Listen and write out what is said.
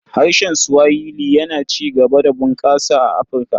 Harshen Swahili yana ci gaba da bunƙasa a Afirka.